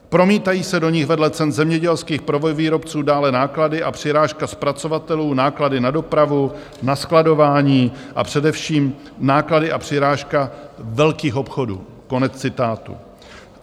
Promítají se do nich vedle cen zemědělských prvovýrobců dále náklady a přirážka zpracovatelů, náklady na dopravu, na skladování, a především náklady a přirážka velkých obchodů."